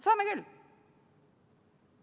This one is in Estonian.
Saame küll.